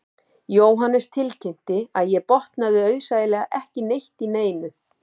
Jóhannes tilkynnti að ég botnaði auðsæilega ekki neitt í neinu